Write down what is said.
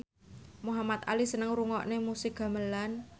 Muhamad Ali seneng ngrungokne musik gamelan